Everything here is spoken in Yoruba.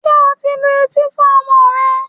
Ṣé o ti lu etí fún ọmọ rẹ?